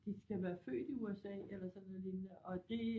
De skal være født i USA eller sådan noget lignende og det